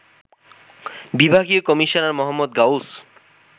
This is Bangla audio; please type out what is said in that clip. বিভাগীয় কমিশনার মো. গাউস